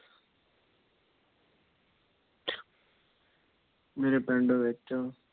ਮੇਰੇ ਪਿੰਡ ਵਿੱਚ